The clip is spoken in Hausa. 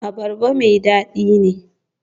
Abarba mai dadi ne?